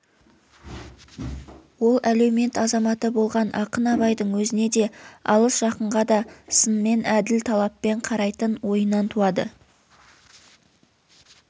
ол әлеумет азаматы болған ақын абайдың өзіне де алыс-жақынға да сынмен әділ талаппен қарайтын ойынан туады